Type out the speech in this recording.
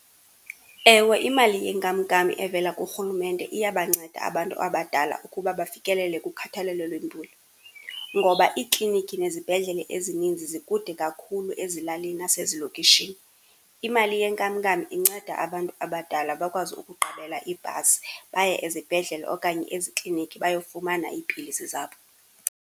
Ewe imali yenkamnkam evela kurhulumente iyabanceda abantu abadala ukuba bafikelele kukhathalelo lwempilo, ngoba iiklinikhi nezibhedlele ezinintsi zikude kakhulu ezilalini nasezilokishini. Imali yenkamnkam inceda abantu abadala bakwazi ukuqabela ibhasi baye ezibhedlele okanye eziklinikhi bayofumana iipilisi zabo.